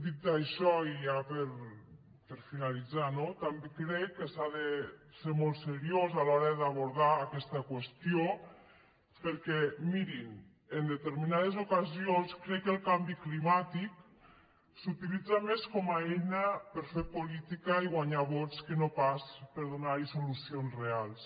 dit això i ja per finalitzar no també crec que s’ha de ser molt seriós a l’hora d’abordar aquesta qüestió perquè mirin en determinades ocasions crec que el canvi climàtic s’utilitza més com a eina per fer política i guanyar vots que no pas per donar hi solucions reals